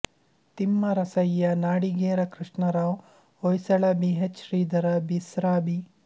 Timmarasayya Nadigera Krishnarao Hoysala B H Shridhara Bisra B